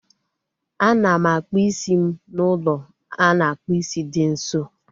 A na m akpụ isi m n'ụlọ a na-akpụ isi dị nso